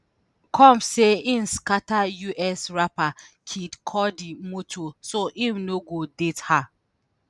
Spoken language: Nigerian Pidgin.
combs say im scata us rapper kid cudi motor so im no go date her.